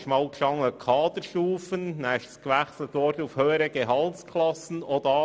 Zuerst war von Kaderstufen die Rede, danach wurden «höhere Gehaltsklassen» genannt.